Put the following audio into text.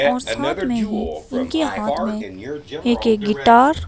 और साथ में ही इनके हाथ में एक एक गिटार --